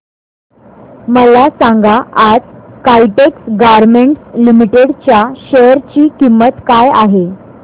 मला सांगा आज काइटेक्स गारमेंट्स लिमिटेड च्या शेअर ची किंमत काय आहे